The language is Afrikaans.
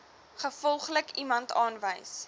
gevolglik iemand aanwys